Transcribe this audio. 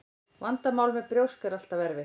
Vandamál með brjósk er alltaf erfitt.